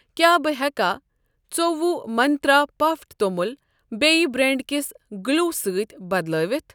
کیٛاہ بہٕ ہیٚکا ۲۴ منٛترٛا پَفڈ توٚمُل بییٚہِ بریٚنڑ کِس گٕلوٗ سۭتۍ بدلٲوَتھ؟